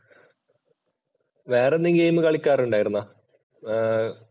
വേറെന്തെങ്കിലും ഗെയിം കളിക്കാൻ ഉണ്ടായിരുന്നോ? ഏർ